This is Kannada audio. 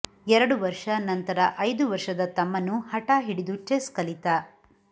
ಎರಡು ವರ್ಷ ನಂತರ ಐದು ವರ್ಷದ ತಮ್ಮನೂ ಹಠ ಹಿಡಿದು ಚೆಸ್ ಕಲಿತ